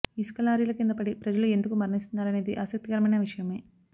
ఇసుక లారీల కింద పడి ప్రజలు ఎందుకు మరణిస్తున్నారనేది ఆసక్తికరమైన విషయమే